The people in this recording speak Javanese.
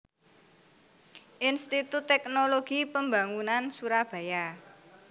Institut Teknologi Pembangunan Surabaya